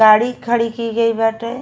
गाड़ी खड़ी की गई बाटे।